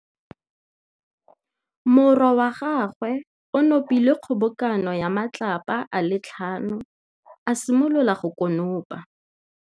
Morwa wa gagwe o nopile kgobokanô ya matlapa a le tlhano, a simolola go konopa.